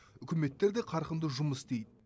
үкіметтер де қарқынды жұмыс істейді